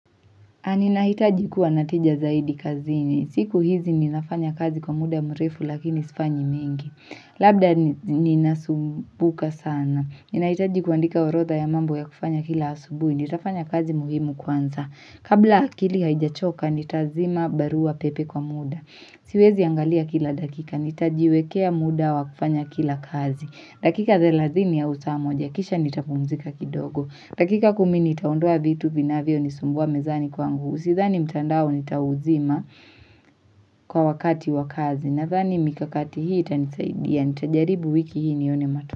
Na ninahitaji kuwa natija zaidi kazini. Siku hizi ninafanya kazi kwa muda mrefu lakini sifanyi mengi. Labda ninasumbuka sana. Ninahitaji kuandika orodha ya mambo ya kufanya kila asubuhi. Nitafanya kazi muhimu kwanza. Kabla akili haijachoka nitazima barua pepe kwa muda. Siwezi angalia kila dakika. Nitajiwekea muda wa kufanya kila kazi. Dakika thelathini au saa moja, kisha nitapumzika kidogo. Dakika kumi nitaondoa vitu vinavyo nisumbua mezani kwa ngu. Sidhani mtandao nitauzima kwa wakati wakazi. Nadhani mikakati hii itanisaidia. Nitajaribu wiki hii nione mato.